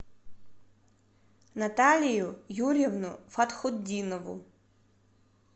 наталию юрьевну фатхутдинову